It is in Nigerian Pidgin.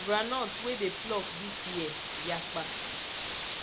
groundnut wey dey pluck this year yapa